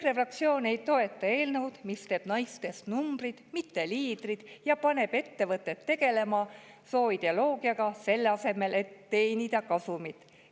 EKRE fraktsioon ei toeta eelnõu, mis teeb naistest numbrid, mitte liidrid ja paneb ettevõtted tegelema sooideoloogiaga, selle asemel et teenida kasumit.